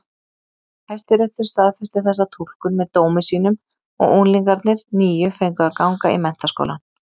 Hæstiréttur staðfesti þessa túlkun með dómi sínum og unglingarnir níu fengu að ganga í menntaskólann.